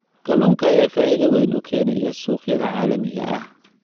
Kalluunka ayaa faa'iido weyn u keenaya suuqyada caalamiga ah.